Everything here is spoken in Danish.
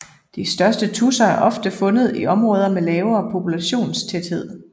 De største tudser er ofte fundet i områder med lavere populationstæthed